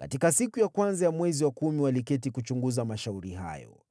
Katika siku ya kwanza ya mwezi wa kumi waliketi kuchunguza mashauri hayo.